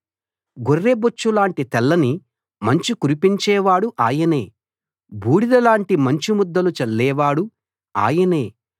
గొర్రెబొచ్చు లాంటి తెల్లని మంచు కురిపించేవాడు ఆయనే బూడిదలాంటి మంచు ముద్దలు చల్లేవాడు ఆయనే